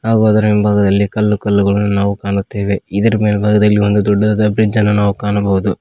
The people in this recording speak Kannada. ಹಾಗೂ ಅದರ ಹಿಂಭಾಗದಲ್ಲಿ ಕಲ್ಲು ಕಲ್ಲು ಗಳನ್ನು ನಾವು ಕಾಣುತ್ತೇವೆ ಇದರ ಮೇಲ್ಬಾಗದಲ್ಲಿ ಒಂದು ದೊಡ್ಡದಾದ ಬ್ರಿಡ್ಜನ್ನು ನಾವು ಕಾಣುಬಹುದು.